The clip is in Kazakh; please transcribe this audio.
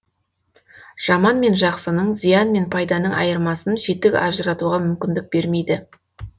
жаман мен жақсының зиян мен пайданың айырмасын жетік ажыратуға мүмкіндік бермейді